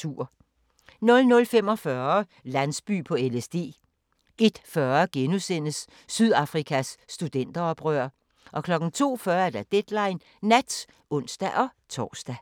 00:45: Landsby på LSD 01:40: Sydafrikas studenteroprør * 02:40: Deadline Nat (ons-tor)